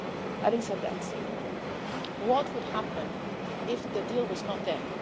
Having said that, what would happen if the deal was not there?